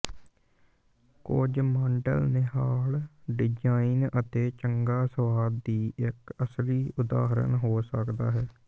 ਕੁਝ ਮਾਡਲ ਨਿਹਾਲ ਡਿਜ਼ਾਇਨ ਅਤੇ ਚੰਗਾ ਸੁਆਦ ਦੀ ਇੱਕ ਅਸਲੀ ਉਦਾਹਰਨ ਹੋ ਸਕਦਾ ਹੈ